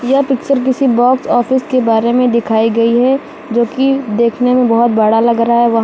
यह पिक्चर किसी box office के बारे मे दिखाई गई है जो कि देखने में बहोत बड़ा लग रहा है वहाँ--